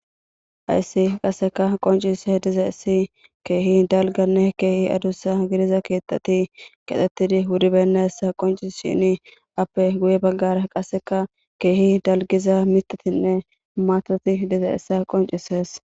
hayssi qasseka qoncise diza issi keehi dalganne keehi adussa gidiza keetati qathettidi wudibenna essa qoncishini appe guye baggara qasseka keehi dalgiza mitatinne maatati diza issa qoncises